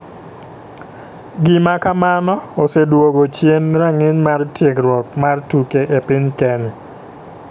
Gima kamano oseduogo chien ranginy mar tiegruok mar tuke e piny kenya.